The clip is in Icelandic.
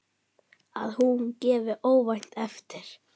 Að hún gefi óvænt eftir.